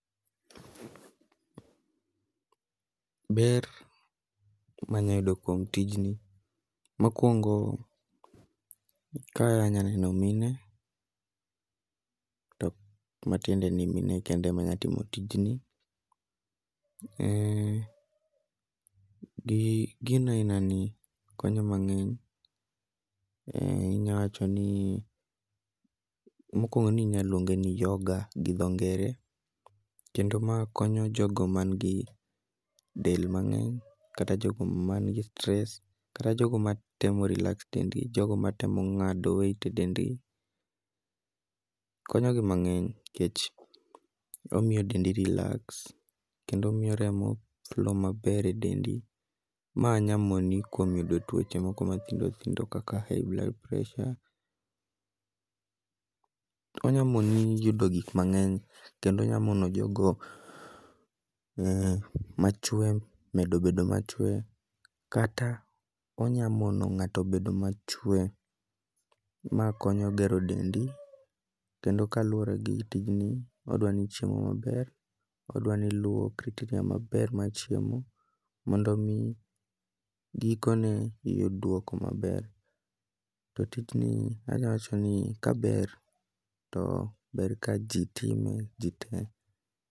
Ber manya yudo kuom tijni, mokwongo kae anya neno mine. To matiende ni mine kende ema nyatimo tijni. Gino aina ni konyo mang'eny, inya wacho ni mokwongo ni inya luonge ni yoga gi dho ngere. Kendo ma konyo jogo man gi del mang'eny, kata jogo man gi stress, kata jogo ma temo relax dendgi. Jogo ma temo ng'ado weight e dendgi. Konyo gi mang'eny, nikech omiyo dendi relax kendo omiyo remo flow maber e dendi. Ma nya moni kuom yudo tuoche moko mathindo kaka high blood pressure. Onya moni yudo gik mang'eny, kendo onya mono jogo machwe medo bedo machwe kata onya mono ng'ato bedo machwe. Ma konyo gero dendi kendo kaluwore gi tijni, odwani ichiemo maber, odwani iluwokri tije maber mar chiemo. Mondo omi iyud dwoko maber, anya wacho ni kaber to ber ka ji time ji te.